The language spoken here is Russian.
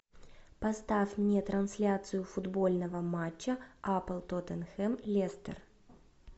поставь мне трансляцию футбольного матча апл тоттенхэм лестер